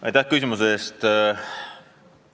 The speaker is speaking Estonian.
Aitäh küsimuse eest!